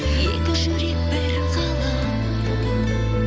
екі жүрек бір ғалам